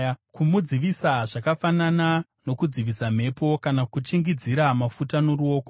kumudzivisa zvakafanana nokudzivisa mhepo, kana kuchingidzira mafuta noruoko.